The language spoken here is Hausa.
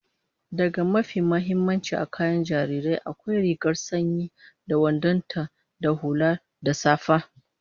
Daga mafi muhimmanci a kayan jariri, akwai rigar sanyi da wandon ta da hula da safa